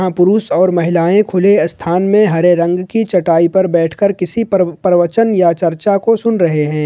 पुरुष और महिलाएं खुले स्थान में हरे रंग की चटाई पर बैठकर किसी पर प्रवचन या चर्चा को सुन रहे हैं।